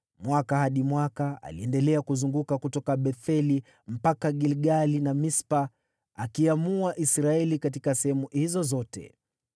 Mwaka hadi mwaka aliendelea kuzunguka kutoka Betheli mpaka Gilgali na Mispa, akiamua Israeli katika sehemu hizo zote.